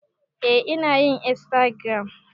Eh inayin insagiram